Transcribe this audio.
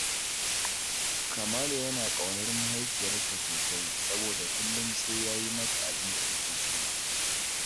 Kamalu yana ƙaunar mahaifiyarsa sosai, soboda kullum sai ya yi mata abin da take so